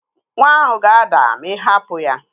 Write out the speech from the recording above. Nwa ahụ ga-ada ma ị hapụ ya